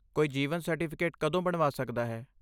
ਕੋਈ ਜੀਵਨ ਸਰਟੀਫਿਕੇਟ ਕਦੋਂ ਬਣਵਾ ਸਕਦਾ ਹੈ?